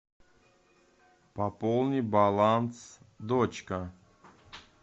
пополни баланс дочка